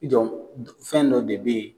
I jɔ fɛn dɔ de be yen